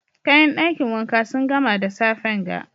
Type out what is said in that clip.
Kayan dakin wanka sun gama da safen ga.